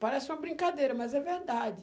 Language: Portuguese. Parece uma brincadeira, mas é verdade.